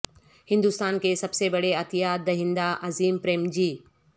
ہندوستان کے سب سے بڑے عطیات دہندہ عظیم پریم جی